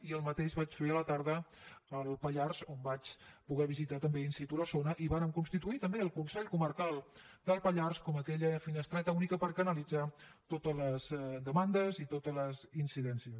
i el mateix vaig fer a la tarda al pallars on vaig poder visitar també in situvàrem constituir també el consell comarcal del pallars com aquella finestreta única per canalitzar totes les demandes i totes aquelles incidències